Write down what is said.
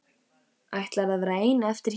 Ætlarðu að verða ein eftir hér?